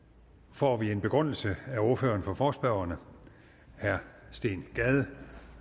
får vi en begrundelse af ordføreren for forespørgerne herre steen gade